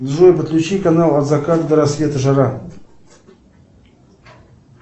джой подключи канал от заката до рассвета жара